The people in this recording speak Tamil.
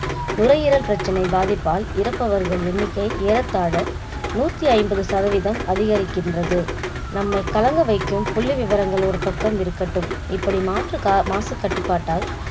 நுரையீரல் பிரச்சனை பாதிப்பால் இறப்பவர்கள் எண்ணிக்கை ஏறத்தாழ நூற்றி ஐம்பது சதவிதம் அதிகரிக்கின்றது. நம்மை கலங்க வைக்கும் புள்ளி விவரங்கள ஒரு பக்கம் இருக்கட்டும் இப்படி மாற்று~மாசு கட்டுப்பாட்டால்